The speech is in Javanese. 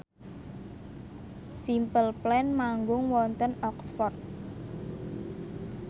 Simple Plan manggung wonten Oxford